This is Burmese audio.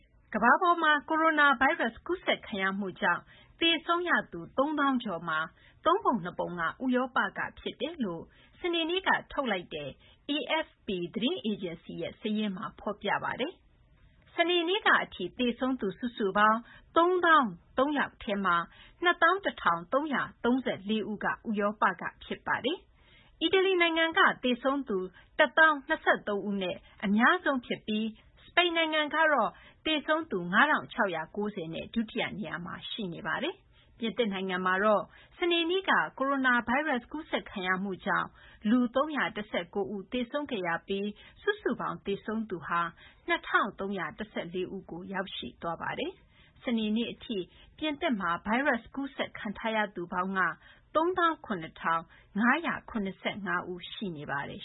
ကမ္ဘာပေါ်မှာ ကိုရိုနာဗိုင်းရပ်စ် ကူးစက်ခံရမှုကြောင့် သေဆုံးရသူ ၃၀,၀၀၀ ကျော်မှာ သုံးပုံနှစ်ပုံက ဥရောပကဖြစ်တယ်လို့ စနေနေ့က ထုတ်ပြန်လိုက်တဲ့ AFP သတင်းအေဂျင်စီရဲ့ စာရင်းမှာ ဖော်ပြပါတယ်။ စနေနေ့ကအထိ သေဆုံးသူ စုစုပေါင်း ၃၀,၀၀၃ ဦးထဲမှာ ၂၁,၃၃၄ ဦးက ဥရောပမှာ ဖြစ်ပါတယ်။ အီတလီနိုင်ငံက သေဆုံးသူ ၁၀,၀၂၃ ဦးနဲ့ သေဆုံးသူအများဆုံးဖြစ်ပြီး စပိန်နိုင်ငံကတော့ သေဆုံးသူ ၅,၆၉၀ နဲ့ ဒုတိယနေရာမှာ ရှိနေပါတယ်။ ပြင်သစ်နိုင်ငံမှာတော့ စနေနေ့က ကိုရိုနာဗိုင်းရပ်စ် ကူးစက်ခံရမှုကြောင့် လူ ၃၁၉ ဦး သေဆုံးခဲ့ရပြီး စုစုပေါင်း သေဆုံးသူ ၂၃၁၄ ဦးထိ ရောက်ရှိသွားပါတယ်။ စနေနေ့အထိ ပြင်သစ်မှာ ဗိုင်းရပ်စ် ကူးစက်ခံထားရသူပေါင်း ၃၇,၅၇၅ ဦး ရှိနေပါတယ်